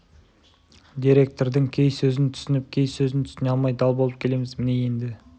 деректірдің кей сөзін түсініп кей сөзін түсіне алмай дал болып келеміз міне енді